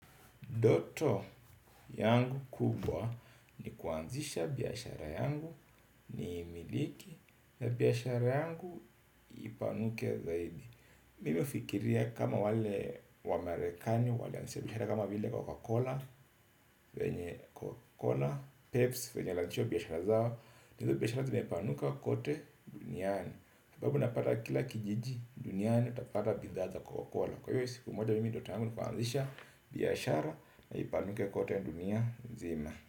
Ndoto yangu kubwa ni kuanzisha biashara yangu ni imiliki na biashara yangu ipanuke zaidi. Mimihufikiria kama wale wa Amerikani wale walioanzishabiashara kama vile Coca-Cola, Peps, venye walianzishahizo biashara zao. Nahizo biashara zime panuka kote duniani. Sababu napata kila kijiji duniani utapata bidhaaza Coca-Cola. Kwa hiyo siku moja mimi ndotoyangu nikuanzisha biashara na ipanuke kote dunia nzima.